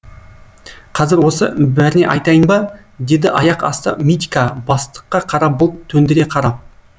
қазір осы бәріне айтайын ба деді аяқ асты митька бастыққа қара бұлт төндіре қарап